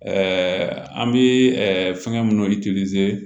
an bɛ fɛnkɛ minnu